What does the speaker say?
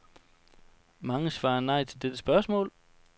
Mange svarer nej til dette spørgsmål.